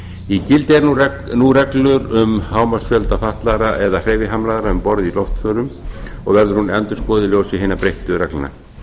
í gildi eru nú reglur um hámarksfjölda fatlaðra eða hreyfihamlaðra um borð í loftförum og verður hún endurskoðuð í ljósi hinna breyttu reglna